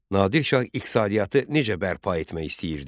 Nadir Şah iqtisadiyyatı necə bərpa etmək istəyirdi?